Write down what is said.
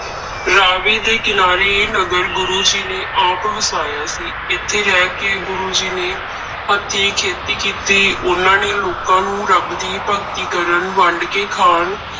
ਰਾਵੀ ਦੇ ਕਿਨਾਰੇ ਇਹ ਨਗਰ ਗੁਰੂ ਜੀ ਨੇ ਆਪ ਵਸਾਇਆ ਸੀ, ਇੱਥੇ ਰਹਿ ਕੇ ਗੁਰੂ ਜੀ ਨੇ ਹੱਥੀ ਖੇਤੀ ਕੀਤੀ, ਉਹਨਾਂ ਨੇ ਲੋਕਾਂ ਨੂੰ ਰੱਬ ਦੀ ਭਗਤੀ ਕਰਨ, ਵੰਡ ਕੇ ਖਾਣ,